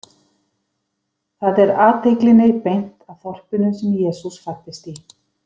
Þar er athyglinni beint að þorpinu sem Jesús fæddist í.